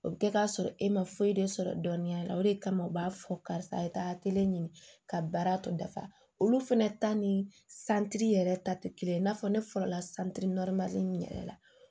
O bɛ kɛ k'a sɔrɔ e ma foyi de sɔrɔ dɔnniya la o de kama u b'a fɔ karisa ye taa kelen ɲini ka baara tɔ dafa olu fana ta ni santiri yɛrɛ ta tɛ kelen ye i n'a fɔ ne fɔlɔ la santiri in yɛrɛ la